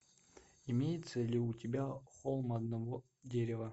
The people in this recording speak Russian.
имеется ли у тебя холм одного дерева